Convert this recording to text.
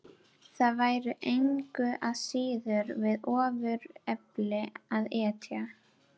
Það væri engu að síður við ofurefli að etja.